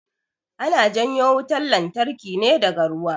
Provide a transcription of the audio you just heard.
Ana janyo wutan lantarki ne daga ruwa